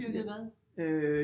Dyrkede hvad